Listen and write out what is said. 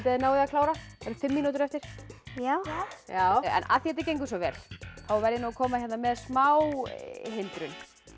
þið náið að klára það eru fimm mínútur eftir já já en af því þetta gengur svo vel þá verð ég að koma með smá hindrun